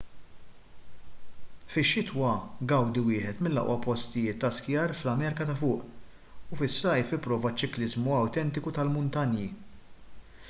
fix-xitwa gawdi wieħed mill-aqwa post ta' skijar fl-amerika ta' fuq u fis-sajf ipprova ċ-ċikliżmu awtentiku tal-muntanji